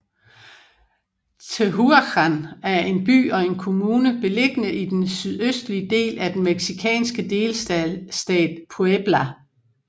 Tehuacán er en by og en kommune beliggende i den sydøstlige del af den mexikanske delstat Puebla